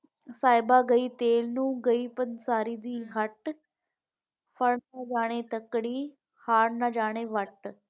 ਸਾਹਿਬਾ ਗਈ ਤੇਲ ਨੂੰ ਗਈ ਪੰਸਾਰੀ ਦੀ ਨਾ ਜਾਣੇ ਤਕੜੀ ਹਾਰ ਨਾ ਜਾਣੇ ਵੱਟ।